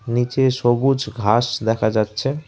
নীচে সবুজ ঘাস দেখা যাচ্ছে।